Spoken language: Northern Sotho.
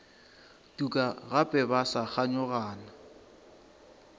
tuka gape ba sa kganyogana